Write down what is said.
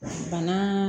Bana